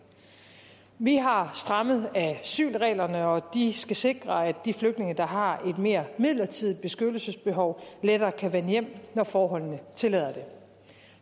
vi har strammet asylreglerne og de skal sikre at de flygtninge der har et mere midlertidigt beskyttelsesbehov lettere kan vende hjem når forholdene tillader det